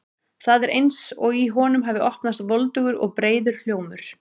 Það er eins og í honum hafi opnast voldugur og breiður hljómur.